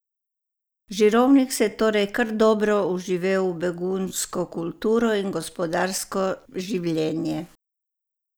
Žirovnik se je torej kar dobro vživel v begunjsko kulturno in gospodarsko življenje.